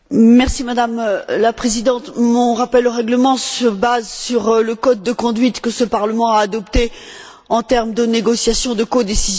Madame la Présidente, mon rappel au règlement se base sur le code de conduite que ce Parlement a adopté en termes de négociations de codécision.